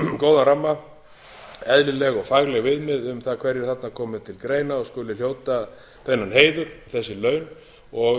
góðan ramma eðlileg og fagleg viðmið um það hverjir þarna komi til greina og skuli hljóta þennan heiður þessi laun og um